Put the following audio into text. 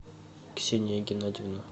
ксения геннадьевна